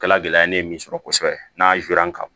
Kɛla gɛlɛya ye ne ye min sɔrɔ kosɛbɛ n'a ka